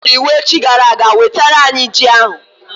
Ha nyere iwu echi gara aga, wetara anyị ji ahụ!